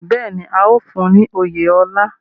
Bẹ́ẹ̀ ni, a óò fún un ní oyè ọlá